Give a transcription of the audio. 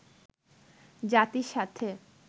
জাতির সাথে